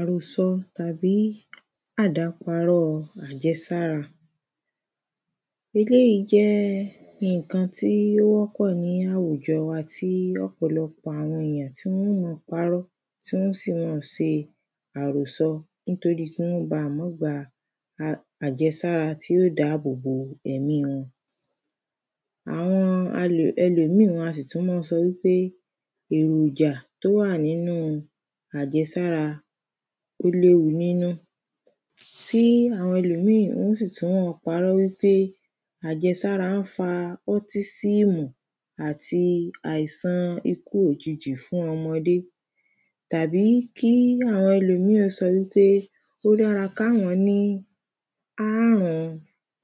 Àròsọ tàbí àdáparọ́ọ àjẹsára eléyìí jẹ́ nǹkan tí ó wọ́pọ̀ ní àwùjọ wa tí ọ̀pọ̀lọpọ̀ àwọn èyàn tí wọ́n ó máa parọ́ tí wọ́n ó sì máa ṣe àròsọ nítorí kí wọ́n bá ma gba àjẹsára tí yóò dá àbò bo ẹ̀mí wọn Àwọn um ẹlòmíì wọ́n á sì tún má sọ wí pé èròjà tó wà nínú àjẹsára ó léwu nínú Tí àwọn ẹlòmíì wọ́n ó sì tún máa parọ́ wí pé àjẹsára ń fa ọ́tísíìmù àti àìsàn ikú òjijì fún ọmọdé Tàbí kí àwọn ẹlòmíì ó sọ wí pé ó dára káwọn ní aárun-un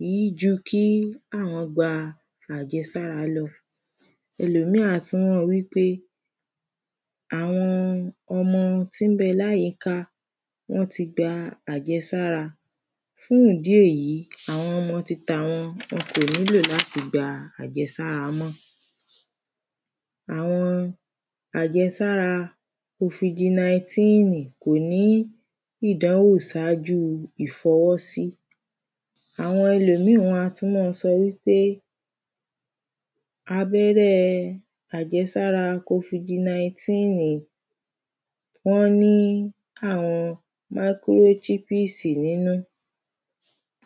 yìí ju kí àwọn gba àjẹsára lọ Ẹlòmíì á tún máa wí pé àwọn ọmọ tí ń bẹ láyìíká wọ́n ti gba àjẹsára fún ìdí èyí àwọn ọmọ titàwọn wọn kò nílò láti gba àjẹsára mọ́ Àwọn àjẹsára kofidi naíntíìnì kó ní ìdánwò saájú ìfọwọ́sí Àwọn ẹlòmíì wọ́n á tún máa sọ wí pé abẹ́rẹ́ ẹ àjẹsára kofidi naíntíìnì wọ́n ní àwọn máíkíróṣípíìsì nínú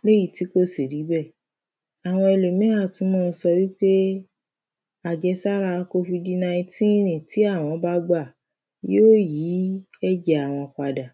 ní èyí tí kò sì rí bẹ́ẹ̀ Àwọn ẹlòmíì á tún máa sọ wí pé àjẹsára kofidi naíntíìnì tí àwọn bá gbà yóò yí ẹ̀jẹ̀ àwọn padà